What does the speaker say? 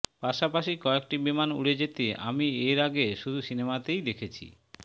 পাশাপাশি কয়েকটি বিমান উড়ে যেতে আমি এর আগে শুধু সিনেমাতেই দেখেছি